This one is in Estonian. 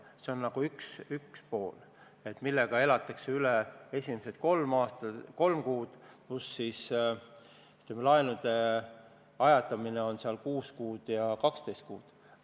See on üks pool, millega elatakse üle esimesed kolm kuud, pluss laenude ajatamine, mis on 6 kuud ja 12 kuud.